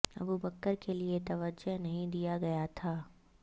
ابو بکر کے لئے توجہ نہیں دیا گیا تھا